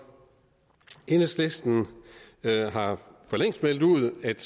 enhedslisten har for længst meldt ud at